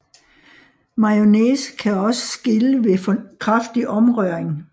Mayonnaise kan også skille ved for kraftig omrøring